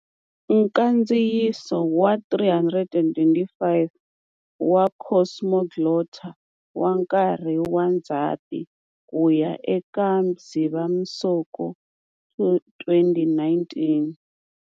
Nkandziyiso wa 325 wa"Cosmoglotta" wa nkarhi wa Ndzhati ku ya eka Dzivamisoko 2019.